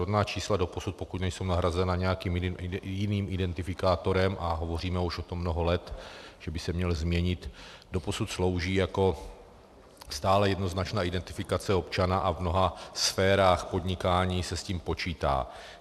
Rodná čísla doposud, pokud nejsou nahrazena nějakým jiným identifikátorem, a hovoříme o tom už mnoho let, že by se měl změnit, doposud slouží jako stále jednoznačná identifikace občana a v mnoha sférách podnikání se s tím počítá.